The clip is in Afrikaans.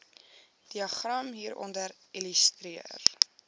diagram hieronder illustreer